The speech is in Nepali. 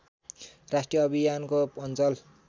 राष्ट्रिय अभियानको अञ्चल